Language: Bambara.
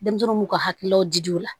Denmisɛnninw b'u ka hakililaw di o la